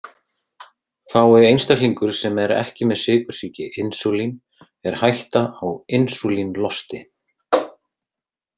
Fái einstaklingur sem er ekki með sykursýki insúlín er hætta á insúlínlosti.